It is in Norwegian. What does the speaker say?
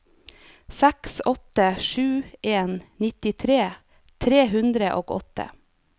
seks åtte sju en nittitre tre hundre og åtte